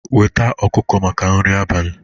Weta ọkụkọ maka nri abalị